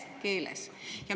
– vene keeles.